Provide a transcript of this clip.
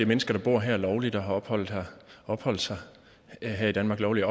mennesker der bor her lovligt og har opholdt opholdt sig her i danmark lovligt